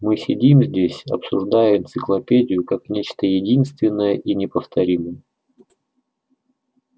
мы сидим здесь обсуждая энциклопедию как нечто единственное и неповторимое